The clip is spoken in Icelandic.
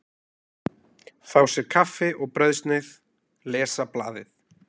Fá sér kaffi og brauðsneið, lesa blaðið.